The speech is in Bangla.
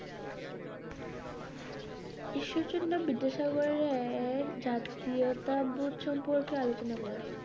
ঈশ্বরচন্দ্র বিদ্যাসাগরের জাতীয়তাবোধ সম্পর্কে আলোচনা করো।